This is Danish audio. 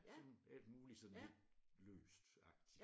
Jamen alt muligt sådan lidt løst-agtigt